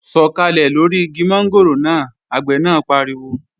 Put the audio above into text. Sọ̀kàlẹ̀ lóri igi mọ́ngòrò náà! Àgbẹ̀ náà pariwo